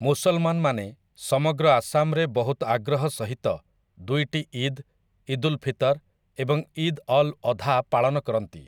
ମୁସଲମାନମାନେ ସମଗ୍ର ଆସାମରେ ବହୁତ ଆଗ୍ରହ ସହିତ ଦୁଇଟି ଇଦ୍‌, ଇଦ୍‌ ଉଲ୍ ଫିତର ଏବଂ ଇଦ୍‌ ଅଲ୍‌ ଅଧା ପାଳନ କରନ୍ତି ।